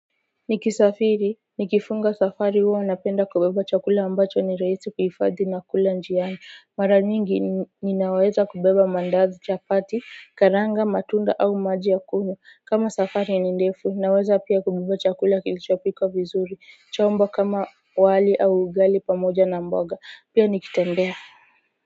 Nikisafiri nikifunga safari huwa napenda kubeba chakula ambacho ni rahisi kuhifadhi na kula njiani mara nyingi ninaweza kubeba mandazi chapati karanga matunda au maji ya kunywa kama safari ni ndefu naweza pia kubeba chakula kilichopikwa vizuri chombo kama wali au ugali pamoja na mboga pia nikitembea.